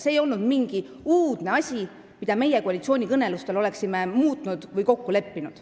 See ei olnud mingi uudne asi, mida meie koalitsioonikõnelustel oleksime muutnud või milles kokku leppinud.